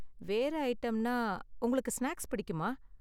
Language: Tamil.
வேற ஐட்டம்னா, உங்களுக்கு ஸ்நாக்ஸ் பிடிக்குமா?